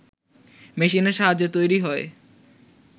মেশিনের সাহায্যে তৈরি হয়